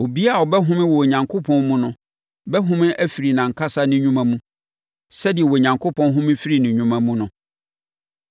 Obiara a ɔbɛhome wɔ Onyankopɔn mu no bɛhome afiri nʼankasa ne nnwuma mu, sɛdeɛ Onyankopɔn home firii ne nnwuma mu no.